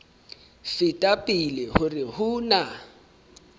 feta pele hore ho na